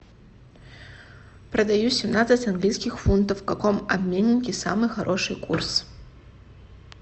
продаю семнадцать английских фунтов в каком обменнике самый хороший курс